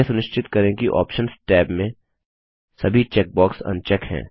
यह सुनिश्चित करें कि आप्शंस टैब में सभी चेकबॉक्स अनचेक हैं